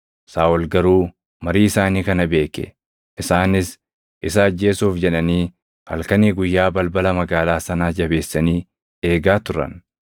Saaʼol garuu marii isaanii kana beeke; isaanis isa ajjeesuuf jedhanii halkanii guyyaa balbala magaalaa sanaa jabeessanii eegaa turan.